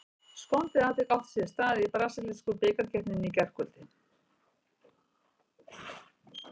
Skondið atvik átti sér stað í brasilísku bikarkeppninni í gærkvöldi.